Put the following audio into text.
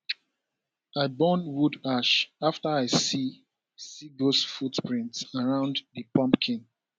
i burn wood ash after i see see dose footprints around di pumpkin